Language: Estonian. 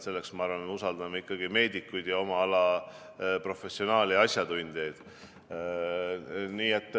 Selles me usaldame ikkagi meedikuid, oma ala professionaale ja asjatundjaid.